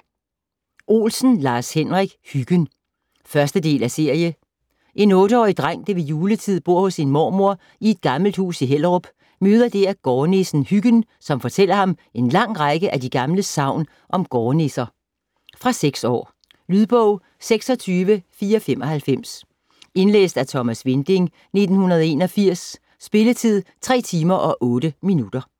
Olsen, Lars-Henrik: Hyggen 1. del af serie. En 8-årig dreng, der ved juletid bor hos sin mormor i et gammelt hus i Hellerup, møder dèr gårdnissen Hyggen, som fortæller ham en lang række af de gamle sagn om gårdnisser. Fra 6 år. Lydbog 26495 Indlæst af Thomas Winding, 1981. Spilletid: 3 timer, 8 minutter.